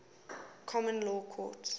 common law courts